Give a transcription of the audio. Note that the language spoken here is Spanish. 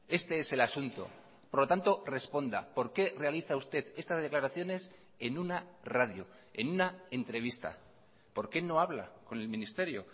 este es el asunto por lo tanto responda por qué realiza usted estas declaraciones en una radio en una entrevista por qué no habla con el ministerio